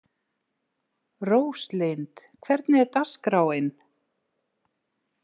Róslind, hvernig er dagskráin?